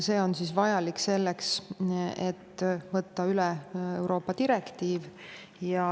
See on vajalik selleks, et võtta üle Euroopa direktiiv.